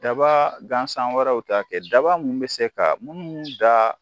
Daba gansan wɛrɛw ta kɛ daba munnu bi se ka munnu da